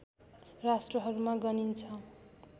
राष्ट्रहरूमा गनिन्छ